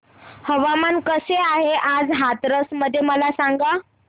हवामान कसे आहे आज हाथरस मध्ये मला सांगा